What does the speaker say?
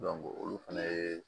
olu fɛnɛ ye